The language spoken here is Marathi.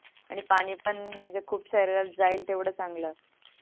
आणि पानी पण म्हणजे खूप शरीरात जाईल तेवड चांगल